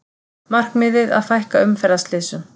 Markmiðið að fækka umferðarslysum